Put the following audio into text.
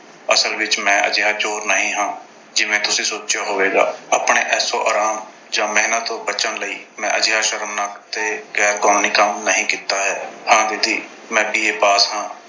ਅਸਲ ਵਿੱਚ ਮੈਂ ਅਜਿਹਾ ਚੋਰ ਨਹੀਂ ਹਾਂ। ਜਿਵੇਂ ਤੁਸੀਂ ਸੋਚਿਆ ਹੋਵੇਗਾ। ਆਪਣੇ ਐਸ਼ੋ-ਆਰਾਮ ਜਾਂ ਮਿਹਨਤ ਤੋਂ ਬਚਣ ਲਈ ਮੈਂ ਅਜਿਹਾ ਸ਼ਰਮਨਾਕ ਤੇ ਗੈਰ ਕਾਨੂੰਨੀ ਕੰਮ ਨਹੀਂ ਕੀਤਾ ਹੈ। ਹਾਂ ਦੀਦੀ ਮੈਂ B. A pass ਹਾਂ।